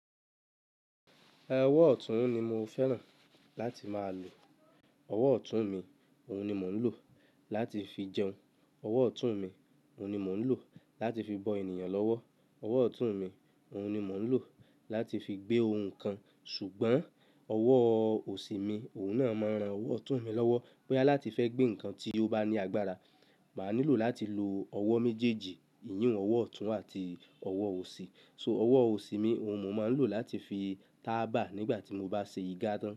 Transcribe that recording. Ọwọ ọ̀tún ni mo fẹ́ràn láti máa lò. Ọ̀wọ́ ọ̀tún mi òun ni mò ń lò láti fi jẹun. Ọ̀wọ́ ọ̀tún mi òun ni mò ń lò láti fi bọ ènìyàn lọ́wọ́. Ọ̀wọ́ ọ̀tún mi òun ni mò ń lò láti fi gbé ohun kan ṣùgbọ́n ọ̀wọ́ òsì mi òun náà máa ń ran ọ̀wọ́ ọ̀tún mi lọ́wọ́. Bí à láti fẹ́ gbé nǹkan tí ó bá ní agbára, máa nílò láti lo ọ̀wọ́ méjèèjì, ìyíhun ọ̀wọ́ ọ̀tún àti ọ̀wọ́ òsì. So ọ̀wọ́ òsì mi òun mo máa ń lò láti fi tábà nígbà tí mo bá ṣe igbonse tán.